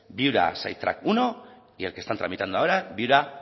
viura primero y el que están tramitando ahora